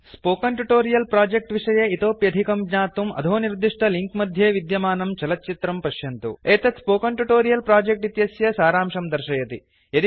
spoken tutorial project विषये इतोप्यधिकं ज्ञातुं अधो निर्दिष्टलिंक् मध्ये विद्यमानं चलच्चित्रं पश्यन्तु एतत् स्पोकन ट्युटोरियल प्रोजेक्ट इत्यस्य सारांशं दर्शयति